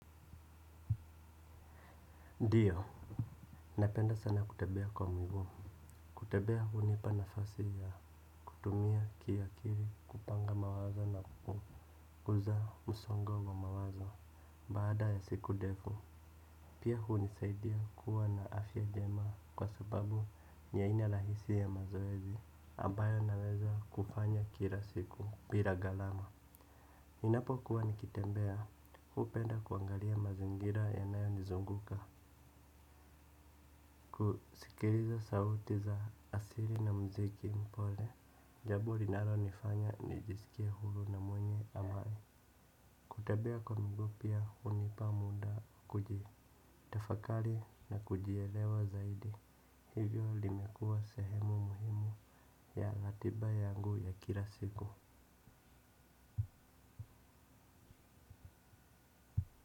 Ndiyo, napenda sana kutembea kwa mguu. Kutembea hunipa nafasi ya kutumia kiakili, kupanga mawazo na kukuza msongo wa mawazo baada ya siku ndefu. Pia hunisaidia kuwa na afya njema kwa sababu ni aina la hisia ya mazoezi ambayo naweza kufanya kila siku bila gharama. Ninapokuwa nikitembea, hupenda kuangalia mazingira yanayonizunguka. Kusikiliza sauti za asili na muziki mpole, jambo linalonifanya nijisikie huru na mwenye amani. Kutembea kwa miguu pia hunipa muda kujitafakari na kujielewa zaidi, hivyo limekuwa sehemu muhimu ya ratiba yangu ya kila siku.